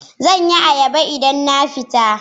Zan yi ayaba idan na fita